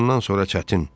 Bundan sonra çətin.